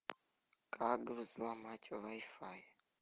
как взломать вай фай